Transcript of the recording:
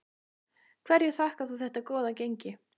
Hverju þakkar þú þetta góða gengi?